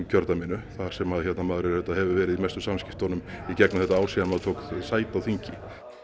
kjördæminu þar sem maður hefur verið í mestum samskiptum í gegnum þetta ár síðan maður tók sæti á þingi